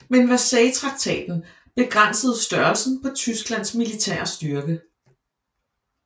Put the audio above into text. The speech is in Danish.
Men Versaillestraktaten begrænsede størrelsen på Tysklands militære styrke